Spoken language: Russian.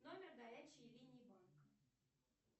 номер горячей линии банка